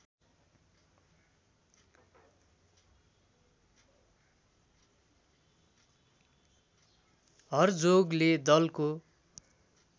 हर्जोगले दलको